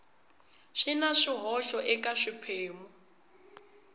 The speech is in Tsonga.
swi na swihoxo eka swiphemu